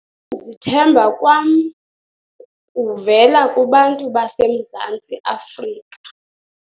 zithemba kwam kuvela kubantu baseMzantsi Afrika.